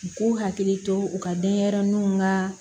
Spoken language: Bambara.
U k'u hakili to u ka denɲɛrɛninw ka